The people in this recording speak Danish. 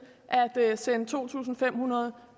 at sende to tusind fem hundrede